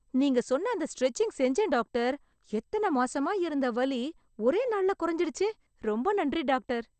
நீங்க சொன்ன அந்த ஸ்ட்ரெச்சிங் செஞ்சேன் டாக்டர்.... எத்தன மாசமா இருந்த வலி, ஒரே நாள்ள கொறஞ்சிடுச்சு... ரொம்ப நன்றி டாக்டர்.